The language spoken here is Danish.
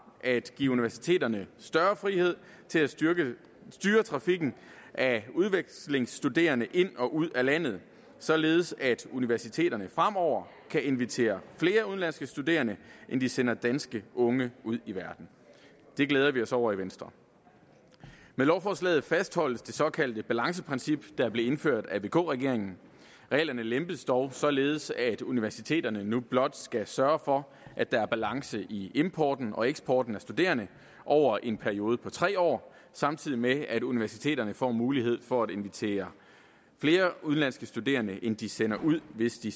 er at give universiteterne større frihed til at styre styre trafikken af udvekslingsstuderende ind og ud af landet således at universiteterne fremover kan invitere flere udenlandske studerende end de sender danske unge ud i verden det glæder vi os over i venstre med lovforslaget fastholdes det såkaldte balanceprincip der blev indført af vk regeringen reglerne lempes dog således at universiteterne nu blot skal sørge for at der er balance i importen og eksporten af studerende over en periode på tre år samtidig med at universiteterne får mulighed for at invitere flere udenlandske studerende end de sender ud hvis de